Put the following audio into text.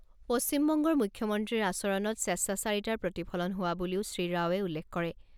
পশ্চিমবংগৰ মুখ্যমন্ত্ৰীৰ আচৰণত স্বেচ্চাচাৰিতাৰ প্ৰতিফলন হোৱা বুলিও শ্ৰীৰাওৱে উল্লেখ কৰে।